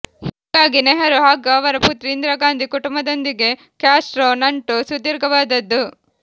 ಹೀಗಾಗಿ ನೆಹರೂ ಹಾಗೂ ಅವರ ಪುತ್ರಿ ಇಂದಿರಾಗಾಂಧಿ ಕುಟುಂಬದೊಂದಿಗೆ ಕ್ಯಾಸ್ಟ್ರೊ ನಂಟು ಸುದೀರ್ಘವಾದದ್ದು